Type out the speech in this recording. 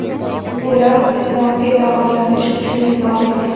Ular Ummonga davolanish uchun yuborilgan.